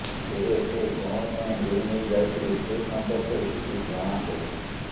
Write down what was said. ତେବେ ସେ କଣ ପାଇଁ ଗୁଳି ନେଇ ଯାଇଥିଲେ ସେ ସମ୍ପର୍କରେ କିଛି ଜଣାପଡିନି